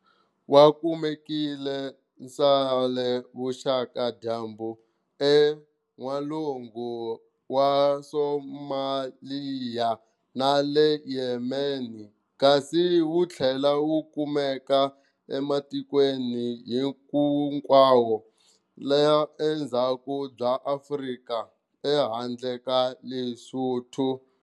Wakumeka ndzale vuxaka-dyambu eN'walungu wa Somalia na le Yemen, kasi wu thlela wukumeka ematikweni hinkwayo ya le dzhaku bya Afrika ehandle ka Lesotho.